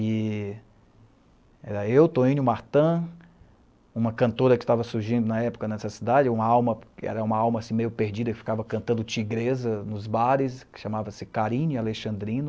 E... era eu, Toínio Martã, uma cantora que estava surgindo na época nessa cidade, uma alma... era uma alma assim meio perdida, que ficava cantando tigreza nos bares, que chamava-se Carinho Alexandrino.